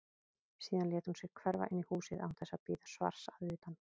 Síðan lét hún sig hverfa inn í húsið án þess að bíða svars að utan.